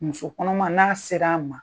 Muso kɔnɔma n'a sera an ma.